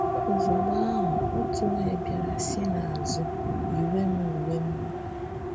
Ozugbo ahụ, otu onye bịara si n’azụ yinye m uwe mmiri.